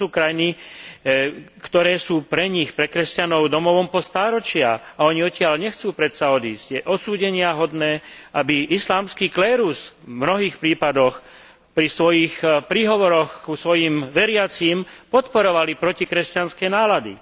Toto sú krajiny, ktoré sú pre nich pre kresťanov domovom po stáročia a oni odtiaľ nechcú predsa odísť. Je odsúdeniahodné, aby islamský klérus v mnohých prípadoch pri svojich príhovoroch k svojim veriacim podporoval protikresťanské nálady.